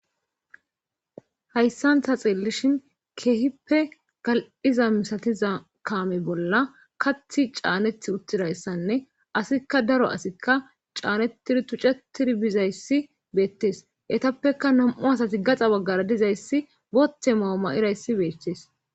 hayssan ta xillishin keehippe gal7iza misatiza kaame bolla kathi caaneth uttidayssanne asikka daro asikka caanetiri tuccetiri bizayssi beettes etappeka nam7u asati gaxa baggara dizayssi bothe mauma7irayssi beetees